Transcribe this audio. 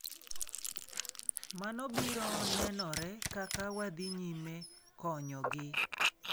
Mano biro nenore kaka wadhi nyime konyogi".